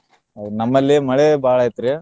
ಹೌದ್ ನಮ್ಮಲ್ಲಿ ಮಳೆ ಬಾಳ ಐತ್ರಿ.